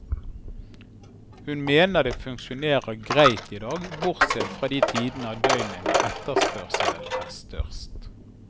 Hun mener det funksjonerer greit i dag, bortsett fra de tidene av døgnet når etterspørselen er størst.